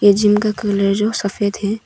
ए gym का colour सफेद है।